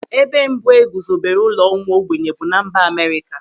Ebe mbụ e guzobere ụlọ ụmụ ogbenye bụ na mba Amerịka.